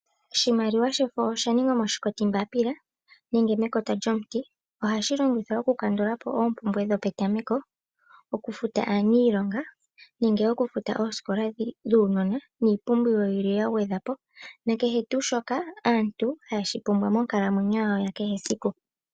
Oshimaliwa shefo oshaningwa moshikoti mbapila nenge mekota lyomuti. Ohashi longithwa okufuta oompumbwe dho petameko nenge okufuta oosikola dhuunona, na kehe tuu shoka aantu haye shi pumbwa monkalamwenyo yawo ya kehe esiku.